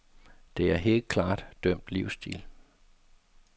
Der er helt klart dømt livsstil.